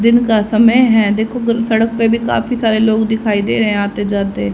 दिन का समय है देखो सड़क पे भी काफी सारे लोग दिखाई दे रहे आते जाते।